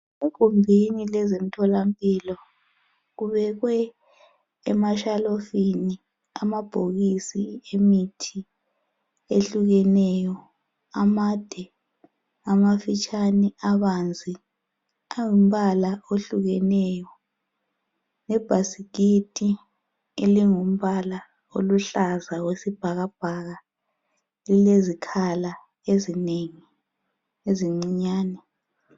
Egumbuni lezemtholampilo kubekwe emashalofini amabhokisi emithi ehlukeneyo amade amafitshane abanzi ayimbala ehlukeneyo lebhasikiti engumbala oluhlaza okwesibhakabhaka lilezikhala ezinengi ezincinyane.